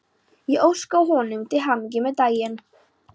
Ég óskaði honum til hamingju með daginn.